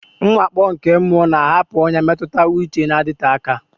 Mwakpo nke mmụọ na-ahapụ ọnyà mmetụta uche na-adịte aka.